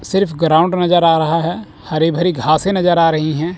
सिर्फ ग्राउंड नजर आ रहा है हरी भरी घासे नजर आ रही हैं।